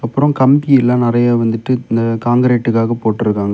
அப்ரோ கம்கி எல்லா நிறைய வந்துட்டு இந்த கான்கிரீட்டுக்காக போட்ருக்காங்க.